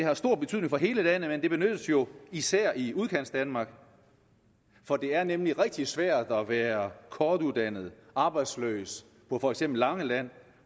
har stor betydning for hele landet men det benyttes jo især i udkantsdanmark for det er nemlig rigtig svært at være kortuddannet arbejdsløs på for eksempel langeland